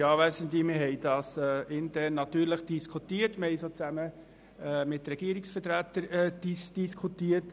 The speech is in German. Wir haben diesen Antrag natürlich kommissionsintern, aber auch zusammen mit Regierungsvertretern diskutiert.